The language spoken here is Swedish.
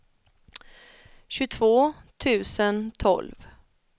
tjugotvå tusen tolv